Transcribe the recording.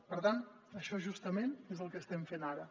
per tant això justament és el que estem fent ara